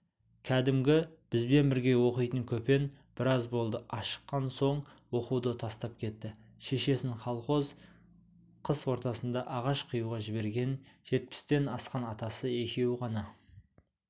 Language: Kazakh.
кәдімгі бізбен бірге оқитын көпен біраз болды ашыққан соң оқуды тастап кетті шешесін колхоз қыс ортасында ағаш қиюға жіберген жетпістен асқан атасы екеуі ғана